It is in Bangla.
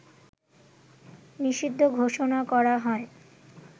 নিষিদ্ধ ঘোষণা করা হয়